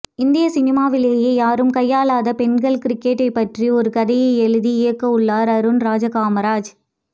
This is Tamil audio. இந்திய சினிமாவிலேயே யாரும் கையாலாத பெண்கள் கிரிக்கெட்டை பற்றி ஒரு கதையை எழுதி இயக்கவுள்ளார் அருண்ராஜா காமராஜ்